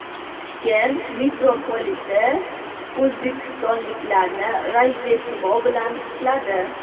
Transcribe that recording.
Toshkent mitropoliti o‘zbekistonliklarni Rojdestvo bilan qutladi.